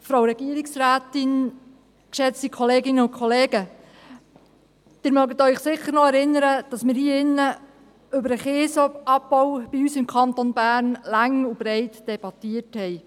Sie erinnern sich sicher noch, dass wir hier im Grossen Rat über den Kiesabbau bei uns im Kanton Bern lang und breit debattiert haben.